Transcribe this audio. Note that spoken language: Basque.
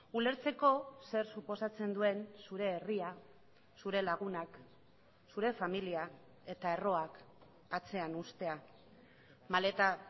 ulertzeko zer suposatzen duen zure herria zure lagunak zure familia eta erroak atzean uztea maleta